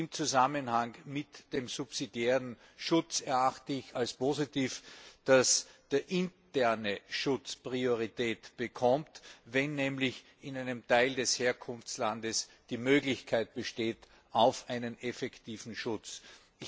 Im Zusammenhang mit dem subsidiären Schutz erachte ich als positiv, dass der interne Schutz Priorität erhält, wenn nämlich in einem Teil des Herkunftslandes die Möglichkeit auf einen effektiven Schutz besteht.